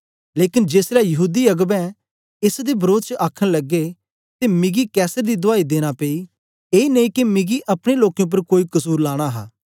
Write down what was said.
लेकन जेसलै यहूदी अगबें एस दे वरोध च आखन लगे ते मिकी कैसर दी दुआई देना पेई ए नेई के मिकी अपने लोकें उपर कोई कसुर लाना हा